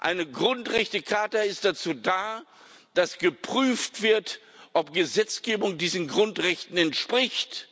Eine Grundrechtecharta ist dazu da, dass geprüft wird, ob Gesetzgebung diesen Grundrechten entspricht.